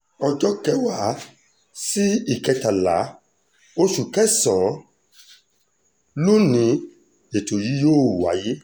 ọjọ́ kẹwàá sí ìkẹtàlá oṣù kẹsàn-án ló ní ètò yìí yóò wáyé